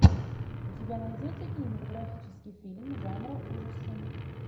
у тебя найдется кинематографический фильм жанра ужасы